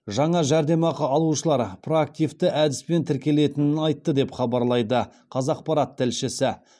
жаңа жәрдемақы алушылар проактивті әдіспен тіркелетінін айтты деп хабарлайды қазақпарат тілшісі